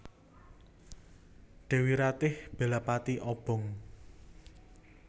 Dèwi Ratih bela pati obong